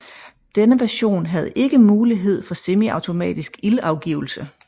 Denne version havde ikke mulighed for semiautomatisk ildafgivelse